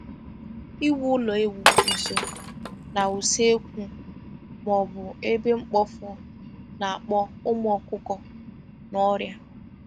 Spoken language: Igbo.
Iwu ụlọ ewu nso na-usekwu ma ọ bụ ebe mkpofu na-akpọ ụmụ ọkụkọ na ọrịa.